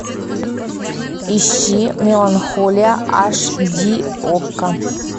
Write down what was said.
ищи меланхолия аш ди окко